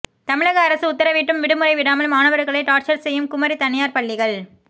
தமிழக அரசு உத்தரவிட்டும் விடுமுறை விடாமல் மாணவர்களை டார்ச்சர் செய்யும் குமரி தனியார் பள்ளிகள்